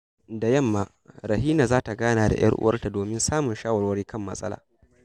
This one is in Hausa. Da yamma, Rahina za ta gana da ‘yar uwarta domin samun shawarwari kan matsala.